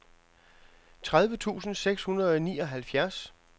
tredive tusind seks hundrede og nioghalvfjerds